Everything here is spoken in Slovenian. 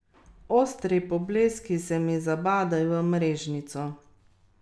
Ostri pobleski se mi zabadajo v mrežnico.